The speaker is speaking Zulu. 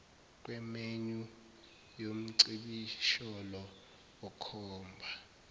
kwemenyu yomcibisholo okhomba